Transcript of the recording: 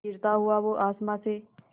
गिरता हुआ वो आसमां से